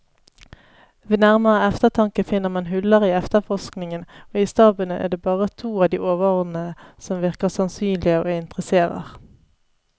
Ved nærmere eftertanke finner man huller i efterforskningen, og i staben er det bare to av de overordnede som virker sannsynlige og interesserer.